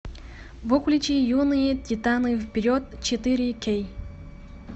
включи юные титаны вперед четыре кей